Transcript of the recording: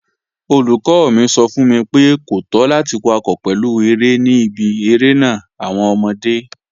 Olùkọ́ mi sọ fún mi pé, kò tọ́ láti wakọ̀ pẹ̀lú eré ní ibi irénà àwọn ọmọdé